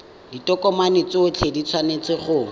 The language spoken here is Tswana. ditokomane tsotlhe di tshwanetse go